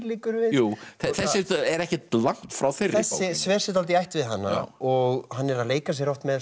liggur við þessi er ekkert langt frá þeirri bók þessi sver sig dálítið í ætt við hana og hann er að leika sér með